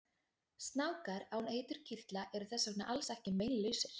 Snákar án eiturkirtla eru þess vegna alls ekki meinlausir!